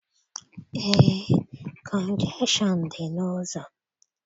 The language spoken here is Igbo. Eé, kọnjekshọn dị n'ụzọ.